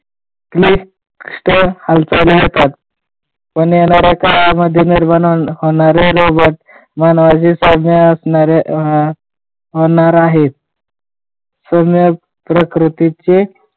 ठीक स्थळ हालचाली होतात पण येणाऱ्या काळामध्ये निर्माण होणारे रोग मनाचे तज्ञ असणारे होणार आहे. सुज्ञ प्रकृतीचे